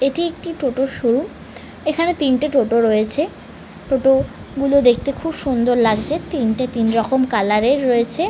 এটি একটি টোটোর শোরুম এখানে তিনটে টোটো রয়েছে টোটো গুলো দেখতে খুব সুন্দর লাগছে তিনটে তিন রকমের কালার এর রয়েছে।